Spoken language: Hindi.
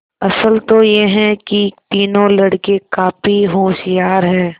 असल तो यह कि तीनों लड़के काफी होशियार हैं